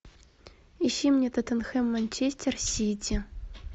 ищи мне тоттенхэм манчестер сити